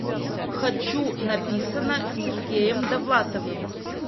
хочу написано сергеем довлатовым